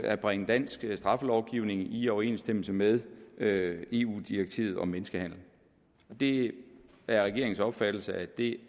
at bringe dansk straffelovgivning i overensstemmelse med med eu direktivet om menneskehandel det er regeringens opfattelse at det